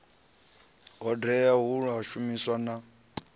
hodea ya u shumisana na